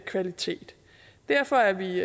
kvalitet derfor er vi